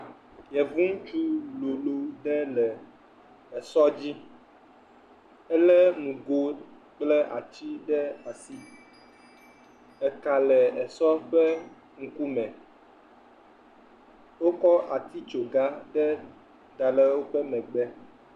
Yevu ŋutsu loo ɖe le esɔ dzi. Elé nugo kple ati ɖe asi. Eka le esɔ ƒe ŋkume. Wokɔ atitsogã ɖe da le woƒe megbe.